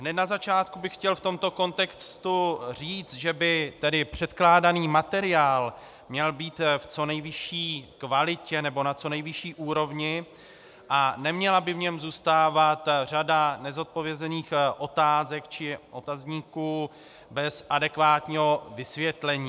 Hned na začátku bych chtěl v tomto kontextu říci, že by tedy předkládaný materiál měl být v co nejvyšší kvalitě nebo na co nejvyšší úrovni a neměla by v něm zůstávat řada nezodpovězených otázek či otazníků bez adekvátního vysvětlení.